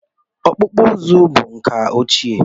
Ọkpụkpụ uzu bụ nka ochie